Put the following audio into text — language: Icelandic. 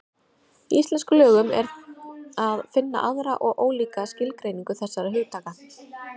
Í íslenskum lögum er að finna aðra og ólíka skilgreiningu þessara hugtaka.